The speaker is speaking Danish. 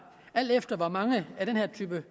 alt efter hvor mange af den her type